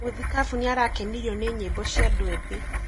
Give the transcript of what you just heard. Mũthikabu nĩarakenirio nĩ nyĩmbo cia andũ ethĩ.